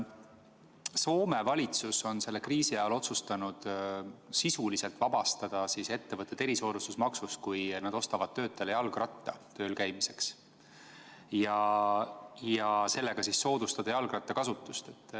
Soome valitsus on selle kriisi ajal otsustanud sisuliselt vabastada ettevõtted erisoodustusmaksust, kui nad ostavad oma töötajale tööl käimiseks jalgratta ja selle kaudu soodustavad jalgrattakasutust.